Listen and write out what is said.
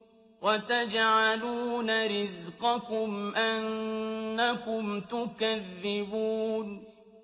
وَتَجْعَلُونَ رِزْقَكُمْ أَنَّكُمْ تُكَذِّبُونَ